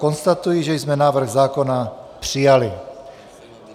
Konstatuji, že jsme návrh zákona přijali.